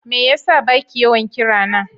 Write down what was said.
Me yasa baki yawan kirana?